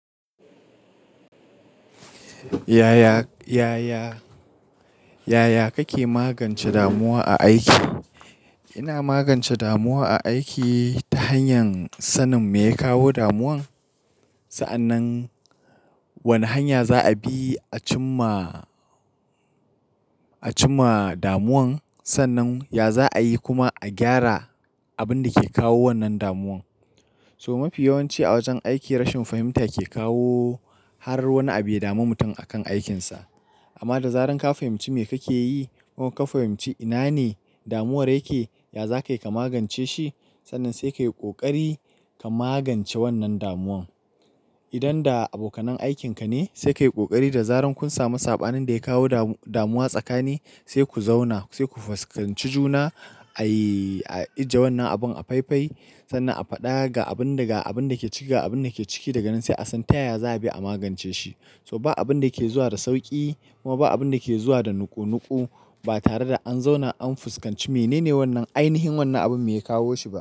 Yaya, yaya, yaya kake magance damuwa a aiki? Ina magance damuwa a aiki ta hanyar sanin me ya kawo damuwan. Sa'annan wane hanya za a bi a cimma, a cimma damuwan. Sannan ya za a yi kuma a gyara abin da ke kawo wannan damuwan. So mafi yawanci a wajen aiki rashin fahimta ke kawo har wani abu ya dami mutum akan aikinsa. Amma da zaran ka fahimci me kake yi kuma ka fahimci ina ne damuwar yake, ya za ka yi ka magance shi. Sannan sai ka yi ƙoƙari ka magance wannan damuwan. Idan da abokanan aikinka ne, sai ka yi ƙoƙari da zarar kun sami saɓanin da ya kawo damuwa tsakanin, sai ku zauna, sai ku fuskanci juna ayi, a ji wannan abin a faifai sannan a faɗa ga abin da ke ciki daga nan sai a san ta yaya za a bi a magance shi. So ba abin da ke zuwa da sauƙi kuma ba abin da ke zuwa da nuƙu nuƙu ba tare da an zauna an fuskanci menene wannan ainihin wannan abin me ya kawo shi ba.